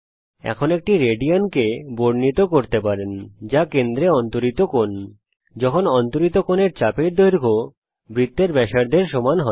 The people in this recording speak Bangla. এখন এক রেডিয়ানকে বর্ণিত করতে পারেন যা কেন্দ্রে অন্তরিত কোণ যখন অন্তরিত কোণের চাপের দৈর্ঘ্য বৃত্তের ব্যাসার্ধের সমান হয়